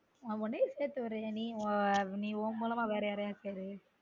நா வந்து விக்க போறேன் நீ உன் மூலமா வேற யாரயாவது சேரு